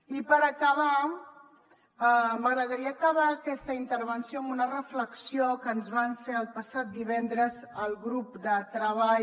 i per acabar m’agradaria acabar aquesta intervenció amb una reflexió que ens van fer el passat divendres al grup de treball